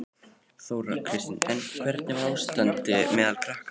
Þóra Kristín: En hvernig var ástandið meðal krakkanna?